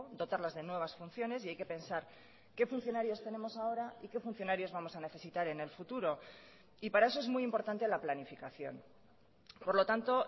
dotarlas de nuevas funciones y hay que pensar qué funcionarios tenemos ahora y qué funcionarios vamos a necesitar en el futuro y para eso es muy importante la planificación por lo tanto